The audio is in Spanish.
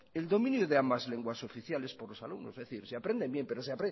el dominio de ambas lenguas oficiales por los alumnos es decir se aprenden bien pero